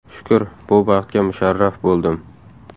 Shukr, bu baxtga musharraf bo‘ldim.